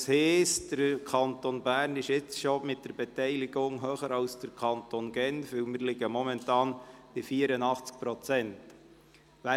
Das heisst, der Kanton Bern liegt jetzt mit der Beteiligung schon höher als der Kanton Genf, denn wir liegen momentan bei 84 Prozent.